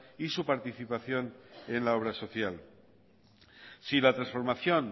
y su participación en la obra social si la transformación